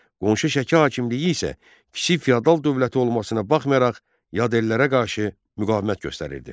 Qonşu Şəki hakimliyi isə kiçik feodal dövləti olmasına baxmayaraq, yad əllərə qarşı müqavimət göstərirdi.